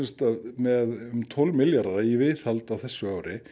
með tólf milljarða í viðhald á þessu ári